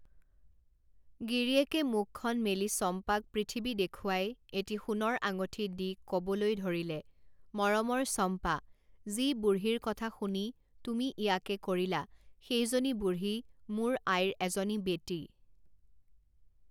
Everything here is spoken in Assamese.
গিৰীয়েকে মুখখন মেলি চম্পাক পৃথিৱী দেখুৱাই এটি সোণৰ আঙঠি দি ক বলৈ ধৰিলে, মৰমৰ চম্পা, যি বুঢ়ীৰ কথা শুনি তুমি ইয়াকে কৰিলা, সেইজনী বুঢ়ী মোৰ আইৰ এজনী বেটী।